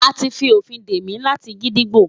A ti fi ofin de mi lati gídígbò